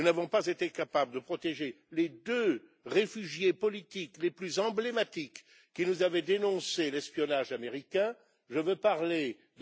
Nous n'avons pas été capables de protéger les deux réfugiés politiques les plus emblématiques qui nous avaient dénoncé l'espionnage américain, MM.